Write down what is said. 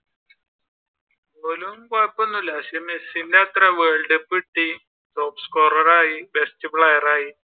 or കൊഴപ്പോംമൊന്നുമില്ല പക്ഷെ മെസ്സിയുടെ അത്രേം world cup കിട്ടി top scorer ആയി best player ആയി